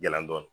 Yala dɔn